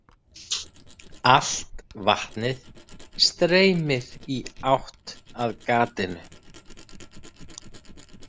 Allt vatnið streymir í átt að gatinu.